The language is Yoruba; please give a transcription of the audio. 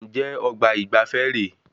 Njẹ ọgbà ìgbafé re?